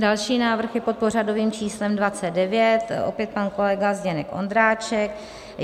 Další návrh je pod pořadovým číslem 29, opět pan kolega Zdeněk Ondráček.